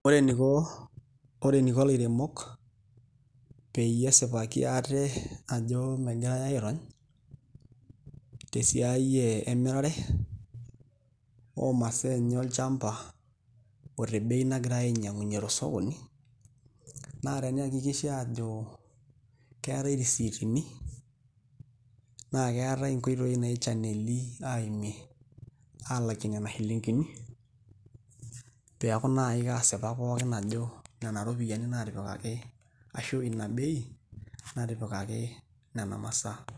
Ore eniko ilaremok peyie esipaki ate ajo megirai aairony tesiai emirare oomasaa enye olchamba o tebei nagirai ainying'unyie tosokoni naa teniakikisha aajo keetai risiitini naa keetai nkoitoi naichaneli aimu aalakie nena shilingini pee eeku naai kaasipak ajo nena iropiyiani ashu ina bei naatipikaki nena masaa.